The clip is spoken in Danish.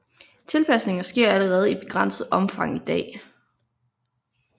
Tilpasninger sker allerede i begrænset omfang i dag